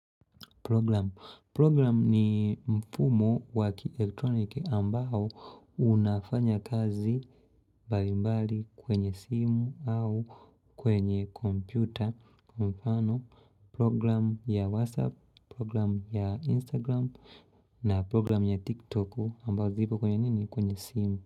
Program ni mfumo wa kielektroniki ambao unafanya kazi mbalimbali kwenye simu au kwenye kompyuta. Kwa mfano program ya WhatsApp, program ya Instagram na program ya TikTok ambao zipo kwenye nini kwenye simu.